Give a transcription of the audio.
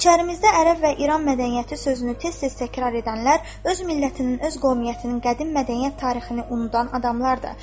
İçərimizdə ərəb və İran mədəniyyəti sözünü tez-tez təkrarlayanlar öz millətinin, öz qovmiyyətinin qədim mədəniyyət tarixini unudan adamlardır.